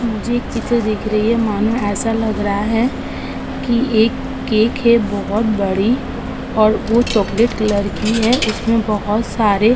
मुझे एक चित्र दिख रही है मानो एसा लग रहा है कि एक केक है बोहोत बड़ी और वो चॉकलेट कलर की है। उसमे बोहोत सारे --